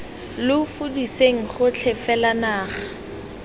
lo fudiseng gotlhe fela naga